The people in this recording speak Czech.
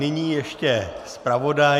Nyní ještě zpravodaj.